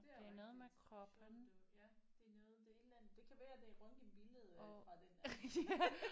Det er rigtigt. Shoulder ja det er noget det er et eller andet det kan være det er røntgenbilledet fra den anden